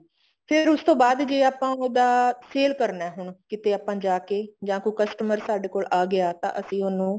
ਫ਼ੇਰ ਉਸ ਤੋਂ ਬਾਅਦ ਜੇ ਆਪਾਂ ਉਹਦਾ sale ਕਰਨਾ ਹੁਣ ਕੀਤਾ ਆਪਾਂ ਜਾ ਕੇ ਜਾਂ ਕੋਈ customer ਸਾਡੇ ਕੋਲ ਆ ਗਿਆ ਤਾਂ ਅਸੀਂ ਉਹਨੂੰ